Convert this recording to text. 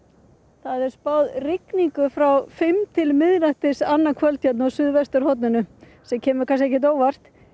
það er spáð rigningu frá fimm til miðnættis annað kvöld hérna á suðvesturhorninu sem kemur ekkert á óvart